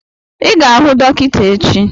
I ga-ahụ dọkịta echi!